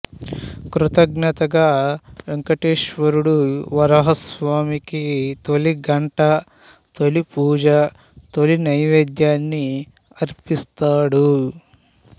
కృతజ్ఞతగా వెంకటేశ్వరుడు వరాహస్వామికి తొలి గంట తొలిపూజ తొలి నైవేద్యాన్ని అర్పిస్తాడు